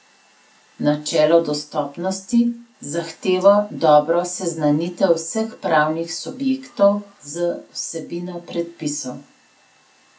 Načelo dostopnosti zahteva dobro seznanitev vseh pravnih subjektov z vsebino predpisov.